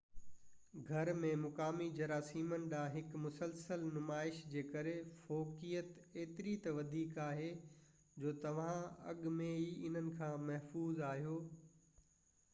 گهر ۾ مقامي جراثيمن ڏانهن هڪ مسلسل نمائش جي ڪري فوقيت ايتري ته وڌيڪ آهي جو توهان اڳ ۾ ئي انهن کان محفوظ آهيو